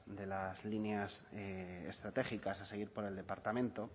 de las líneas estratégicas a seguir por el departamento